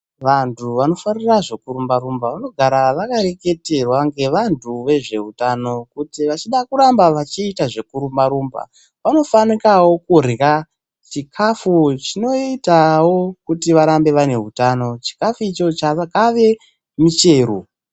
Vantu vanofarira zvekurumba-rumba vanogara vakareketerwa ngevantu vezveutano kuti vachida kuramba vachiita zvekurumba-rumba, vanofanikawo kurya chikafu chinoitawo kuti varambe vane hutano, chikafu icho ave michero.